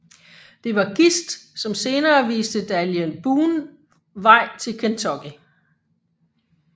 Det var Gist som senere viste Daniel Boone vej til Kentucky